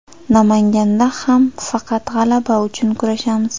Namanganda ham faqat g‘alaba uchun kurashamiz.